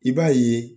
I b'a ye